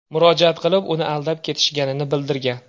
murojaat qilib, uni aldab ketishganini bildirgan.